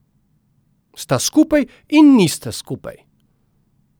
Sta skupaj in nista skupaj.